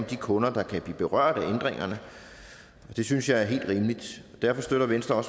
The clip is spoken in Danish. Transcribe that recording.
de kunder der kan blive berørt af ændringerne det synes jeg er helt rimeligt derfor støtter venstre